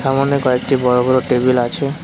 ওখানে কয়েকটি বড়ো বড়ো টেবিল আছে।